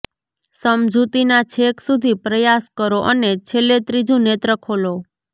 સમજૂતીના છેક સુધી પ્રયાસ કરો અને છેલ્લે ત્રીજું નેત્ર ખોલો